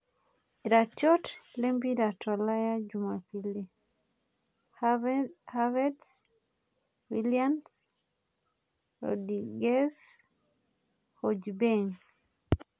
Iratiot lempira tolaya Jumapili: Haverts, Willian, Rodriguez, hojbjerg,